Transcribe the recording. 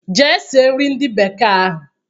Jee sie nri ndị bekee ahụ!